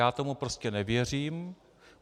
Já tomu prostě nevěřím.